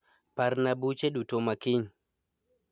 Parna buche duto ma kiny